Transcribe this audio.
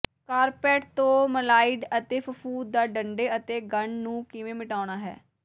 carpet ਤੋਂ ਮਲਾਈਡ ਅਤੇ ਫਫ਼ੂਦ ਦਾ ਡੰਡੇ ਅਤੇ ਗੰਢ ਨੂੰ ਕਿਵੇਂ ਮਿਟਾਉਣਾ ਹੈ